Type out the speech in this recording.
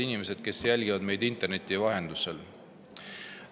Head inimesed, kes jälgivad meid interneti vahendusel!